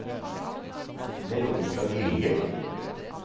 Veronica Gilje